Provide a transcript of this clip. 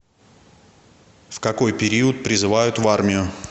в какой период призывают в армию